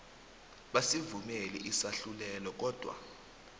basivumile isahlulelo kodwa